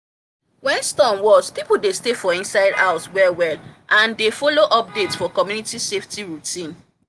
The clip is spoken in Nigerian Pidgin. when storm worst people dey stay for inside house well well and they follow update for community safety routine